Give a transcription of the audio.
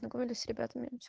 погода среда